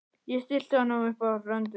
Ég stilli honum upp á rönd við hlið